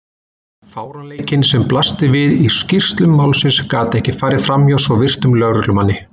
Fáránleikinn sem blasti við í skýrslum málsins gat ekki farið framhjá svo virtum lögreglumanni.